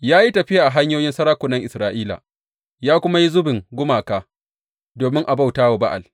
Ya yi tafiya a hanyoyin sarakunan Isra’ila ya kuma yi zubin gumaka domin a bauta wa Ba’al.